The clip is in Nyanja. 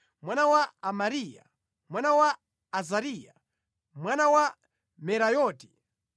mwana wa Amariya, mwana wa Azariya, mwana wa Merayoti,